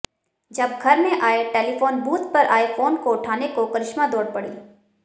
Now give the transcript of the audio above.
जब घर में आए टेलीफोन बूथ पर आए फोन को उठाने को करिश्मा दौड़ पड़ीं